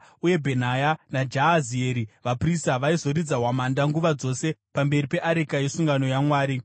uye Bhenaya naJahazieri vaprista vaizoridza hwamanda nguva dzose pamberi peareka yesungano yaMwari.